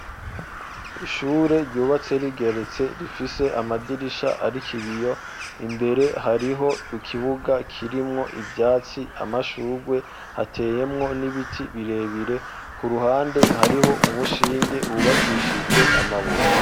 ishure ryubatse rigeretse rifise amadirisha ariko ibiyo imbere hariho ikibuga kirimwo ivyatsi amashugwe hateyemwo n'ibiti birebire ku ruhande hariho umushinge w,ubakishijwe amabuye